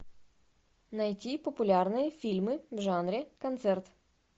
найти популярные фильмы в жанре концерт